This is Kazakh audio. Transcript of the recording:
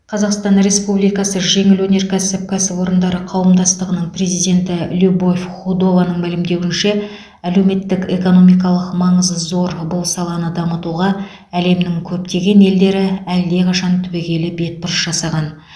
қазақстан республикасы жеңіл өнеркәсіп кәсіпорындары қауымдастығының президенті любовь худованың мәлімдеуінше әлеуметтік экономикалық маңызы зор бұл саланы дамытуға әлемнің көптеген елдері әлдеқашан түбегейлі бетбұрыс жасаған